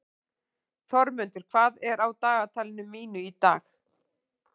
Þormundur, hvað er á dagatalinu mínu í dag?